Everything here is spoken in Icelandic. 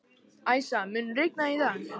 Æsa, mun rigna í dag?